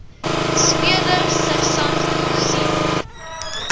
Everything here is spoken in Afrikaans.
speurder sersant coetzee